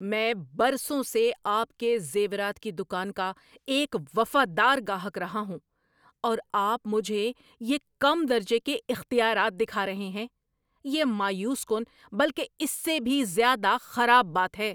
میں برسوں سے آپ کے زیورات کی دکان کا ایک وفادار گاہک رہا ہوں اور آپ مجھے یہ کم درجے کے اختیارات دکھا رہے ہیں؟ یہ مایوس کن بلکہ اس سے بھی زیادہ خراب بات ہے۔